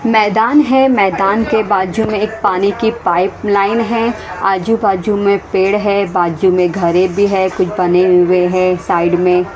मैदान है मैदान के बाजू में एक पानी की पाइप लाइन है आजू-बाजू में पेड़ है बाजू में घरे भी है कुछ बने हुए हैं साइड में।